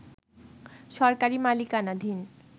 সরকারি মালিকানাধীন